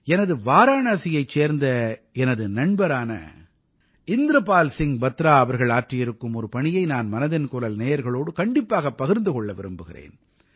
எனது வாராணசியைச் சேர்ந்த எனது நண்பரான இந்திரபால் சிங் பத்ரா அவர்கள் ஆற்றியிருக்கும் ஒரு பணியை நான் மனதின் குரல் நேயர்களோடு கண்டிப்பாகப் பகிர்ந்து கொள்ள விரும்புகிறேன்